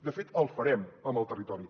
de fet el farem amb el territori